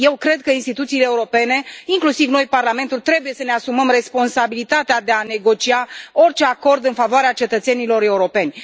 Eu cred că instituțiile europene, inclusiv noi, Parlamentul, trebuie să ne asumăm responsabilitatea de a negocia orice acord în favoarea cetățenilor europeni.